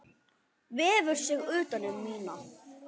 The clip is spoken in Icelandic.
Vefur sig utan um mína.